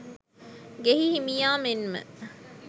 ගෙයි හිමියා මෙන්ම